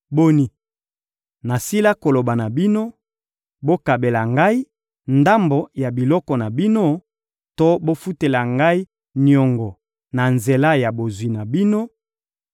Boni, nasila koloba na bino: ‹Bokabela ngai ndambo ya biloko na bino to bofutela ngai niongo na nzela ya bozwi na bino,